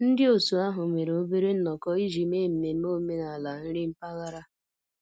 Ndị otu ahụ mere obere nnọkọ iji mee mmemme omenala nri mpaghara